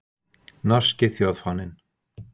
Norski þjóðfáninn.